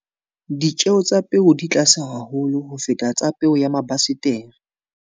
Ditjeo tsa peo di tlase haholo ho feta tsa peo ya mabasetere.